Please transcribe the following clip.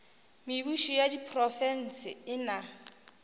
mebušo ya diprofense e na